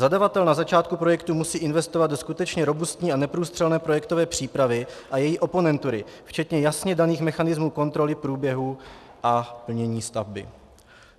Zadavatel na začátku projektu musí investovat do skutečně robustní a neprůstřelné projektové přípravy a její oponentury včetně jasně daných mechanismů kontroly průběhu a plnění stavby.